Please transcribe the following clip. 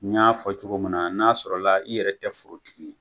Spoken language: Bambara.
N y'a fɔ cogo min na n'a sɔrɔ la i yɛrɛ tɛ forotigi ye